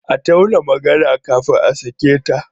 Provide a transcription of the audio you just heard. A tauna magana kafin a sake ta.